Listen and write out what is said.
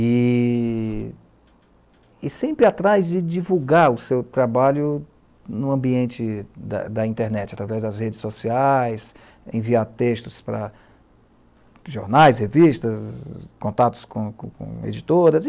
E sempre atrás de divulgar o seu trabalho no ambiente da, da internet, através das redes sociais, enviar textos para jornais, revistas, contatos com editoras.